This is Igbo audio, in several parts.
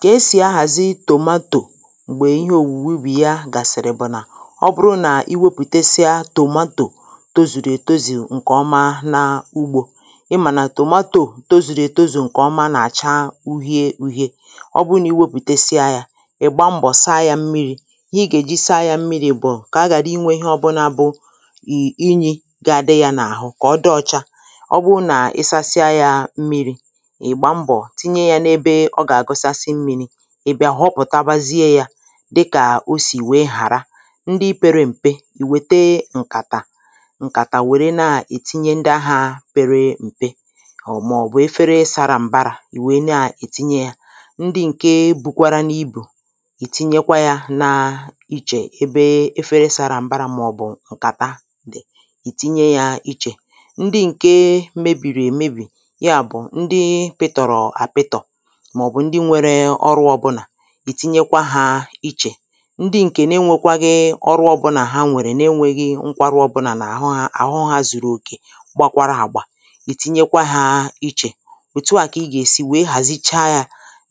Kà esì ahàzi tomato m̀gbè ihe òwùwubì ya gàsị̀rì bụ̀ nà ọ bụrụ nà ị wepụ̀tesịa tomato tozùrù ètozù ǹkè ọma na ugbō ị mà nà tomato tozùrù ètozù ǹkè ọma nà-àcha uhie uhie ọ bụ nà ị wepụ̀tesịa yā ị̀ gba mbọ̀ sa yā mmirī ihe ị gà èji sa yā mmirī bụ̀ kà aghàra inwē ihe ọbụnā bụ ì inyī ga adị yā n’àhụ kà ọ dị ọcha ọ bụ nà ị sasịa yā mmirī ị̀ gba mbọ̀ tinye yā n’ebe ọ gà àgụsasị mmīni ị̀ bị̀à họpụ̀tabazie yā dịkà osì we hàra ndị pere m̀pe ị wète ǹkàtà ǹkàtà wère naa-ètinye ndị ahā pere m̀pe ọ̀ màọ̀bụ̀ efere sara m̀barā ị wee na ètinye yā, ndị ǹke bụkwaranu ibù ị tinyekwa yā na ichè ebe efere sara m̀barā màọ̀bụ̀ ǹkàta dị̀ ị tinye yā ichè ndị ǹke mebìrì èmebì yaabụ̀ ndị pịtọ̀rọ̀ àpịtọ̀ màọ̀bụ̀ ndị nwere ọrụ ọbụnà ị tinyekwa hā ichè ndị ǹkè na enwēkwaghị ọrụ ọbụnà ha nwèrè na enwēghị nkwarụ ọbụnà n’àhụ hā àhụ hā zùrù òkè gbakwara àgbà ị̀ tinyekwa hā ichè òtu à kà ị gà-èsi wee hàzicha yā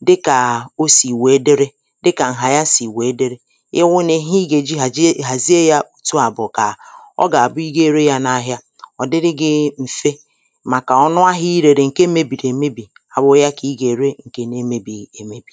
dịkà o sì wee diri dịkà ǹhà ya sì wee diri ị wụni ihe ị gà-èji hàjie hàzie yā òtu à bù kà ọ gà-àbụ ị ga ere yā n’ahịa ọ̀ dịrị gị m̀fe màkà ọnụ ahị̄a ị rèrè ǹke mebìrì èmebì awụ̄ ya kà ị gà-ère ǹkè na emēbìghị̀ èmebì